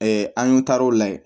an y'u taar'o la yen